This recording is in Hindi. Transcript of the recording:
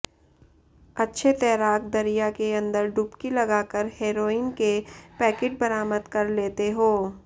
अच्छे तैराक दरिया के अंदर डुबकी लगाकर हेरोइन के पैकेट बरामद कर लेते हों